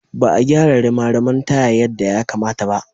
Ba a gyara rimariman taya yadda ya kamata ba.